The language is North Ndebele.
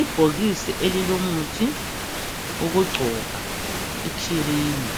Ibhokisi elilomuthi wokugcoba ikhirimu,